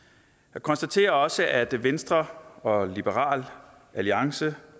jeg konstaterer også at venstre og liberal alliance